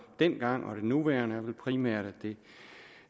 dengang og det nuværende er vel primært